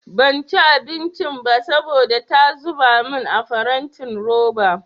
Banci abincin ba saboda ta zuba min a farantin roba.